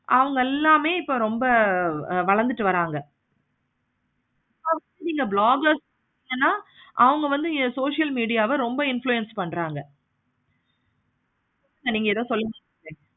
அவங்க எல்லாமே இப்போ நல்ல வளந்துட்டு வராங்க. இந்த bloggers என்னென்ன அவங்க வந்து என்னோட social media வ ரொம்ப influence பண்றாங்க. நீங்க எதோ சொல்லிட்டு இருந்திங்க